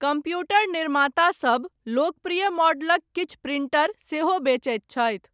Computer निर्मातासभ लोकप्रिय मॉडलक किछु प्रिंटर सेहो बेचैत छथि।